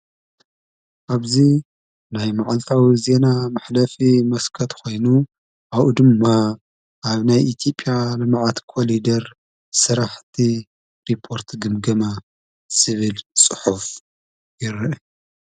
ኣብዙ ናይ መዓልፋዊ እዜና ማኅደፊ መስከት ኾይኑ ኣኡ ድምማ ኣብ ናይ ኢቲጵያ መመዓት ኰሊደር ሠራሕቲ ሪጶርቲ ግምገማ ስብል ጽሑፍ ይረአ።